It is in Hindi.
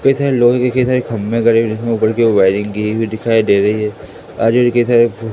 कई सारे लोहे एक ही साइड खंभे गड़े है जिसमें ऊपर कि ओर वायरिंग कि हुई दिखाई दे रही है आजू बाजू की सड़क--